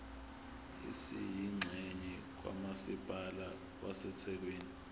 esiyingxenye kamasipala wasethekwini